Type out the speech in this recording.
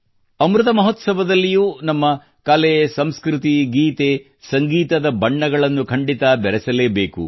ಅಮೃತ ಮಹೋತ್ಸವದಲ್ಲಿಯೂ ನಮ್ಮ ಕಲೆ ಸಂಸ್ಕೃತಿ ಗೀತೆ ಸಂಗೀತದ ಬಣ್ಣಗಳನ್ನು ಖಂಡಿತ ಬೆರೆಸಲೇಬೇಕು